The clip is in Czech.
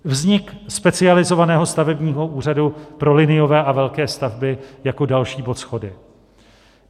Vznik specializovaného stavebního úřadu pro liniové a velké stavby jako další bod shody.